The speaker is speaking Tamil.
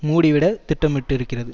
மூடிவிட திட்டமிட்டிருக்கிறது